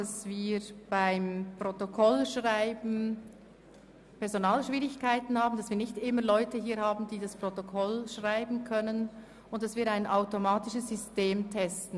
Ich habe zu Beginn der Session darüber informiert, dass uns manchmal Leute fehlen, welche das Protokoll schreiben können und wir ein automatisches System testen.